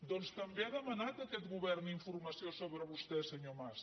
doncs també ha demanat aquest govern informació sobre vostè senyor mas